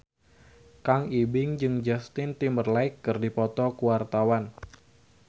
Kang Ibing jeung Justin Timberlake keur dipoto ku wartawan